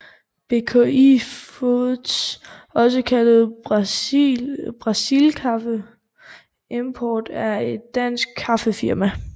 BKI foods også kaldet Brasil Kaffe Import er et dansk kaffefirma